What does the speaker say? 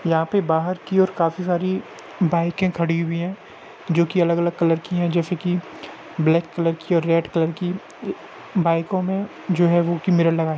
यहां पर बाहर की और काफी सारी बाइके खड़ी हुई है जो की अलग-अलग कलर की है जैसे कि ब्लैक कलर की और रेड कलर की बाइको में जो है वह की मिरर लगा है।